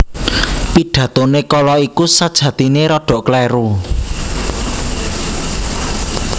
Pidatoné kala iku sajatiné rada kléru